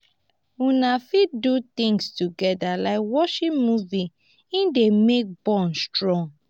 una fit do things together like watching movie e dey make bond strong